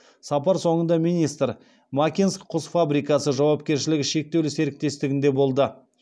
сапар соңында министр макинск құс фабрикасы жауапкершілігі шектеулі серіктестігінде болды